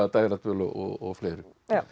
dægradvöl og fleiru